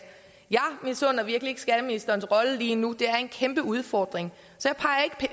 jeg misunder virkelig ikke skatteministerens rolle lige nu det er en kæmpe udfordring så